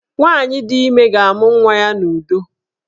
Nwaanyị di ime ga-amụ nwa ya n'udo